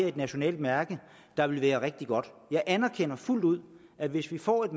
et nationalt mærke der ville være rigtig godt jeg anerkender fuldt ud at hvis vi får et